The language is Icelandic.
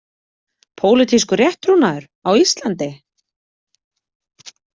„Pólitískur rétttrúnaður“ á Íslandi?